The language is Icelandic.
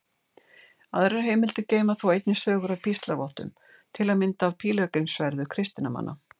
Aðrar heimildir geyma þó einnig sögur af píslarvottum, til að mynda af pílagrímsferðum kristinna manna.